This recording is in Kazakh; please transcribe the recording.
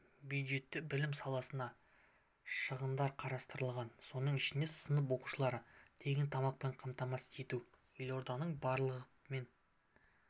бюджетте білім саласына шығындар қарастырылған соның ішінде сынып оқушыларын тегін тамақпен қамтамасыз ету елорданың барлық мен